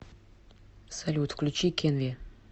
салют включи кенви